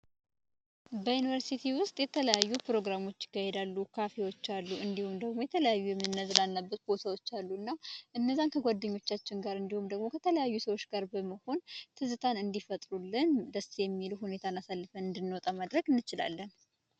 በዩኒቨርስቲ ውስጥ የተለያዩ ፕሮግራሞች ይካሄዳሉ ካፌዎች አሉ እንዲሁም የተለያዩ የምንዝናናበት ቦታዎች አሉ፤ እና እነዛን ከጓደኞቻችን ጋር እንዲሁም ከተለያዩ ሰዎች ጋር በመሆን ትዝታ እንዲፈጥሩልንና ደስ የሚሉ ጊዜዎችን አሳልፈን እንድንወጣ ማድረግ እንችላለን።